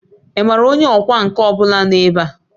Ị maara onye ọkwá nkà ọ bụla nọ ebe a?